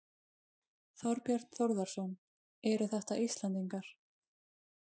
Þorbjörn Þórðarson: Eru þetta Íslendingar?